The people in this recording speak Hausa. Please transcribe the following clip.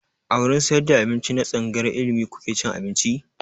A wurin sayar da abinci na tsangayar ilimi kuke cin abinci?